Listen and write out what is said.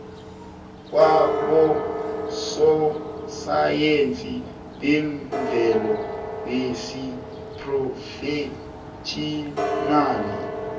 kwabososayensi bemvelo besiphrofetjhinali